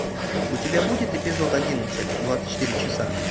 у тебя будет эпизод одиннадцать двадцать четыре часа